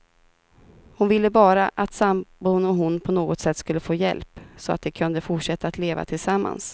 Hon ville bara att sambon och hon på något sätt skulle få hjälp, så att de kunde fortsätta att leva tillsammans.